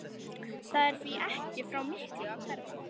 Það er því ekki frá miklu að hverfa.